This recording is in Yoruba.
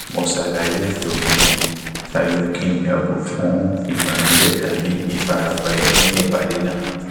mo ṣàlàyé ètò mi ṣáájú kí n yàgò fún ìbànújẹ tabi ìfarapa ẹmí ní ipàdé náà